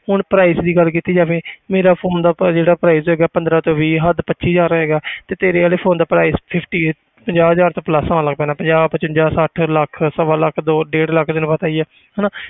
ਹੁਣ price ਦੀ ਗੱਲ ਕੀਤੀ ਜਾਵੇ ਮੇਰਾ phone ਦਾ ਪ~ ਜਿਹੜਾ price ਹੈਗਾ ਪੰਦਰਾਂ ਤੋਂ ਵੀਹ ਹੱਦ ਪੱਚੀ ਹਜ਼ਾਰ ਹੋਏਗਾ ਤੇ ਤੇਰੇ ਵਾਲੇ phone ਦਾ price fifty ਹੈ ਪੰਜਾਹ ਹਜ਼ਾਰ ਤੋਂ plus ਹੋਣ ਲੱਗ ਪੈਣਾ ਪੰਜਾਹ ਪਚਵੰਜਾ ਛੱਠ ਲੱਖ ਸਵਾ ਲੱਖ ਦੋ ਡੇਢ ਲੱਖ ਤੈਨੂੰ ਪਤਾ ਹੀ ਹੈ ਹਨਾ